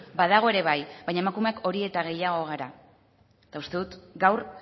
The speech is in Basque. badago ere bai baina emakumeak hori eta gehiago gara eta uste dut gaur